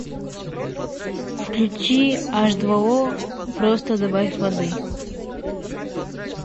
включи аш два о просто добавь воды